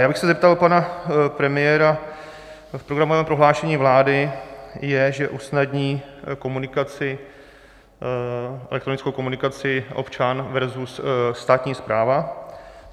Já bych se zeptal pana premiéra: V programovém prohlášení vlády je, že usnadní elektronickou komunikaci občan versus státní správa.